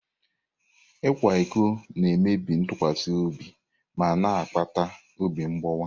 Ịkwa iko na-emebi ntụkwasị obi ma na-akpata obi mgbawa.